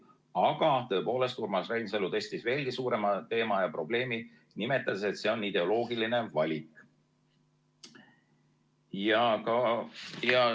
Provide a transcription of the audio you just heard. Aga Urmas Reinsalu tõstis veelgi suurema teema ja probleemi, nimetades, et see on ideoloogiline valik.